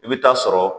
I bɛ taa sɔrɔ